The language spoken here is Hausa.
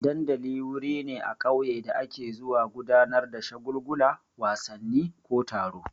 Dandali wuri ne a ƙauye da ake zuwa gudanar da shagulgula, wasanni ko taro.